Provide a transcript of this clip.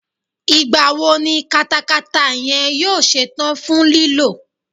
Ìgbà wo ni katakata yẹn yóò ṣe tán fún lílò?